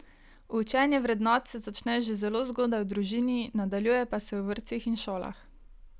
Učenje vrednot se začne že zelo zgodaj v družini, nadaljuje pa se v vrtcih in šolah.